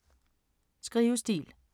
Skrivestil